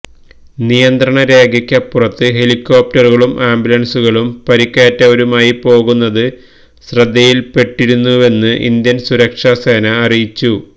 നിയന്ത്രണ രേഖയ്ക്കപ്പുറത്ത് ഹെലിക്കോപ്റ്ററുകളും ആംബുലന്സുകളും പരിക്കേറ്റവരുമായി പോകുന്നത് ശ്രദ്ധയില്പ്പെട്ടിരുന്നുവെന്ന് ഇന്ത്യന് സുരക്ഷ സേന അറിയിച്ചു